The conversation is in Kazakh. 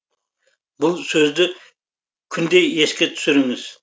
бұл сөзді күнде еске түсіріңіз